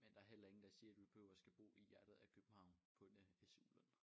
Men der heller ingen der siger du behøver at skal bo i hjertet af København på en SU-løn